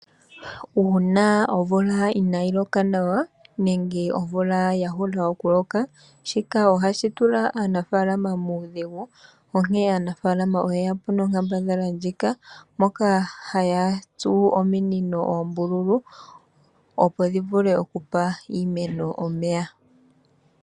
Uuna omvula inaayi loka nawa, nenge omvula ya hula okuloka, shika ohashi tula aanafaalama muudhigu, onkene aanafaalama oye yapo nonkambadhala ndjika, moka haya tsu ominino oombululu, opo dhivule okugandja omeya kiimeno.